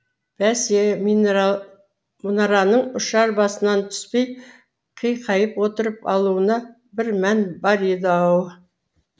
бәсе мұнараның ұшар басынан түспей қиқайып отырып алуында бір мән бар еді ау